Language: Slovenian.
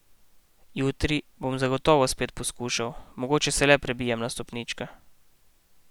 Jutri bom zagotovo spet poskušal, mogoče se le prebijem na stopničke.